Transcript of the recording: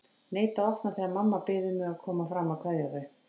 Neita að opna þegar mamma biður mig að koma fram að kveðja þau.